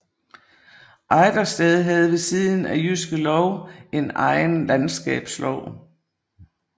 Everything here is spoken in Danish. Ejdersted havde ved siden af Jyske Lov en egen landskabslov